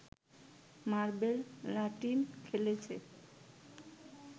marble লাটিম খেলেছে